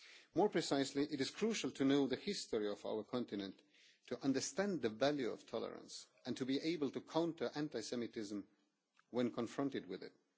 More precisely, it is crucial to know the history of our continent to understand the value of tolerance and to be able to counter anti Semitism when confronted with it.